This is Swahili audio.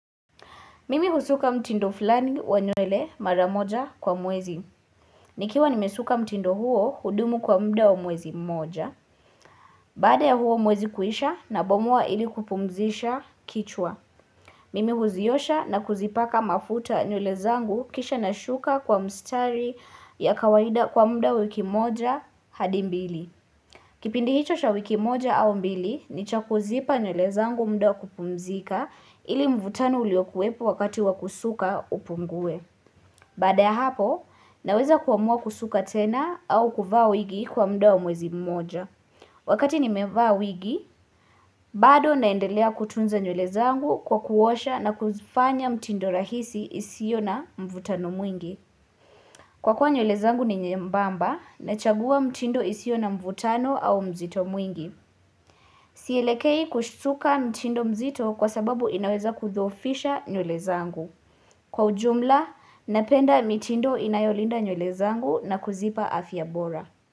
Mimi husuka mtindo fulani wa nywele maramoja kwa mwezi. Nikiwa nimesuka mtindo huo hudumu kwa muda wa mwezi mmoja. Baada ya huo mwezi kuisha nabomoa ili kupumzisha kichwa. Mimi huziosha na kuzipaka mafuta nywele zangu kisha nashuka kwa mstari ya kawaida kwa muda wiki mmoja hadi mbili. Kipindi hicho cha wiki moja au mbili ni cha kuzipa nywele zangu muda wa kupumzika ili mvutano uliokuwepo wakati wa kusuka upungue. Baada ya hapo, naweza kuamua kusuka tena au kuvaa wigi kwa muda wa mwezi mmoja. Wakati nimevaa wigi, bado naendelea kutunza nywele zangu kwa kuosha na kuzifanya mtindo rahisi isio na mvutano mwingi. Kwa kuwa nywele zangu ni nyembamba nachagua mtindo isio na mvutano au mzito mwingi. Sielekei kusuka mitindo mzito kwa sababu inaweza kudhoofisha nywele zangu. Kwa ujumla, napenda mitindo inayolinda nywele zangu na kuzipa afya bora.